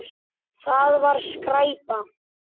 Það var skræpa.